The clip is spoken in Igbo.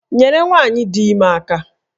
Nyere nwanyi dị ime aka!